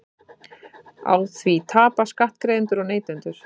Á því tapa skattgreiðendur og neytendur